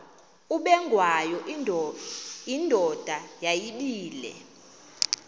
ubengwayo indoda yayibile